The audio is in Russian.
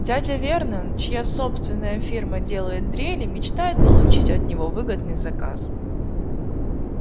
дядя вернон чья собственная фирма делает дрели мечтает получить от него выгодный заказ